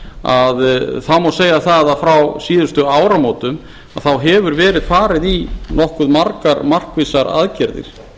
að að þá má segja að frá síðustu áramótum hefur verið farið í nokkuð margar markvissar aðgerðir